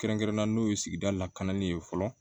Kɛrɛnkɛrɛnnenya n'o ye sigida lakananin ye fɔlɔ